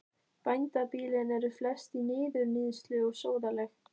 Bændabýlin eru flest í niðurníðslu og sóðaleg.